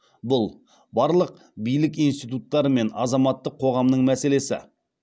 бұл барлық билік институттары мен азаматтық қоғамның мәселесі